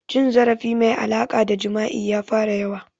Cin zarafi mai alaƙa da jima'i ya fara yawa